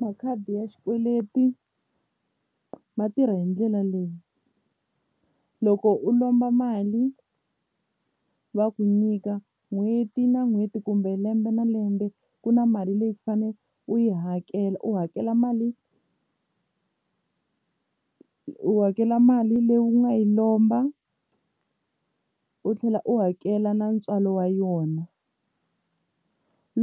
Makhadi ya xikweleti ma tirha hi ndlela leyi loko u lomba mali va ku nyika n'hweti na n'hweti kumbe lembe na lembe ku na mali leyi u fane u yi hakela u hakela mali u hakela mali leyi u nga yi lomba u tlhela u hakela na ntswalo wa yona